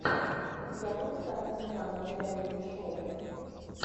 у тебя будет картина жанра реалити шоу